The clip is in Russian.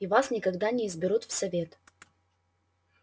и вас никогда не изберут в совет